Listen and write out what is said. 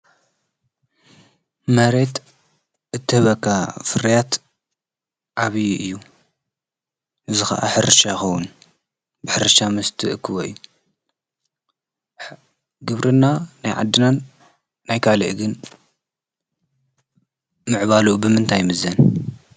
መሬት እተበካ ፍርያት ዓብዪ እዩ ዝ ሕርሻ ኾዉን ብሕርሻ ምስቲ እክወ እዩ ግብርና ናይ ዓድናን ናይካልአግን ምዕባሉ ብምንታይምዘን